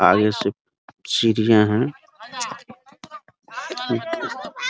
आगे से सीढ़ियाँ हैं एक --